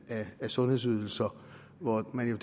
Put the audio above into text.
af sundhedsydelser hvor man